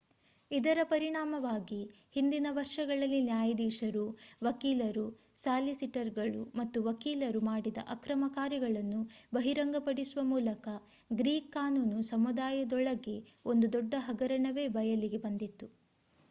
ಇದರ ಪರಿಣಾಮವಾಗಿ ಹಿಂದಿನ ವರ್ಷಗಳಲ್ಲಿ ನ್ಯಾಯಾಧೀಶರು ವಕೀಲರು ಸಾಲಿಸಿಟರ್‌ಗಳು ಮತ್ತು ವಕೀಲರು ಮಾಡಿದ ಅಕ್ರಮ ಕಾರ್ಯಗಳನ್ನು ಬಹಿರಂಗಪಡಿಸುವ ಮೂಲಕ ಗ್ರೀಕ್ ಕಾನೂನು ಸಮುದಾಯದೊಳಗೆ ಒಂದು ದೊಡ್ಡ ಹಗರಣವೇ ಬಯಲಿಗೆ ಬಂದಿತು